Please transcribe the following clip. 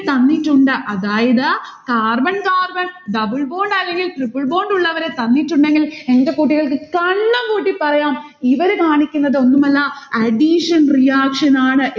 തന്നിട്ടുണ്ട്. അതായത് carbon carbon double bond അല്ലെങ്കിൽ triple bond ഉള്ളവരെ തന്നിട്ടുണ്ടെങ്കിൽ എന്റെ കുട്ടികൾക്ക് കണ്ണുംപൂട്ടി പറയാം ഇവര് കാണിക്കുന്നത് ഒന്നുമല്ല addition reaction ആണ്.